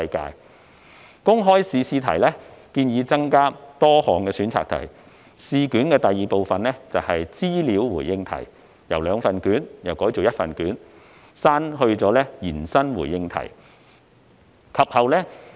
根據建議，公開考試的試題會增設多項選擇題，試卷的第二部分是資料回應題，由兩份卷改為一份卷，並刪去延伸回應題。